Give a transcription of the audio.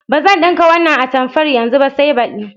Ba zan ɗinka wannan atamfar yanzu ba sai badi.